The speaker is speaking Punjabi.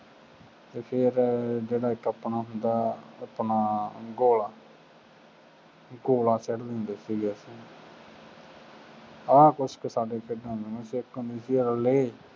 ਅਤੇ ਫੇਰ ਜਿਹੜਾ ਇੱਕ ਆਪਣਾ ਹੁੰਦਾ ਆਪਣਾ ਗੋਲਾ ਗੋਲਾ ਕਹਿ ਦਿੰਦੇ ਸੀਗੇ। ਆਹ ਕੁੱਛ ਖੇਡਾਂ ਦੇ ਵਿੱਚ ਹੁੰਦਾ ਸੀ, ਇੱਕ ਹੁੰਦੀ ਸੀ ਰਿਲੇਅ,